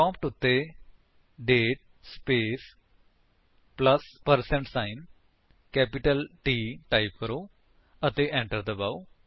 prompt ਉੱਤੇ ਦਾਤੇ space plus percent sign capital T type ਕਰੋ ਅਤੇ enter ਦਬਾਓ